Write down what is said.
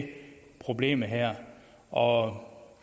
problemet her og